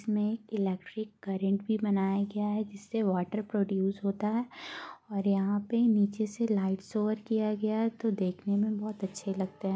इस में electric current भी बनाया गया है जिससे वाटर प्रडूस होता है और यहाँ पे नीचे से लाइट शावर किया गया है तो देखने में बहुत अच्छे लगते है ।